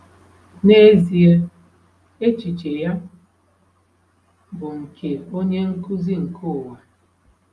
N'ezie, echiche ya bụ nke onye nkuzi nke ụwa.